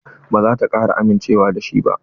Ba za ta kara amincewa da shi ba.